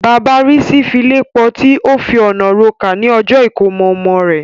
Bàbá Rísí file pọti, ó fi ọ̀nà rokà ní ọjọ́ ìkómọ ọmọ rẹ̀.